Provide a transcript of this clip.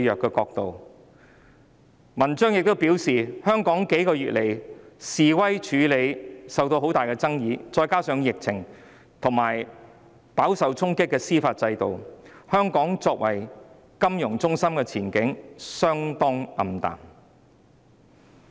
她在文章中表示，香港在這數個月對示威的處理手法受到很大爭議，再加上疫情，以及司法制度飽受衝擊，香港作為金融中心的前景相當暗淡。